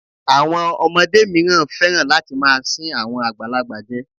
Àwọn ọmọdé míràn féràn láti máa sín àwọn àgbàlagbà je.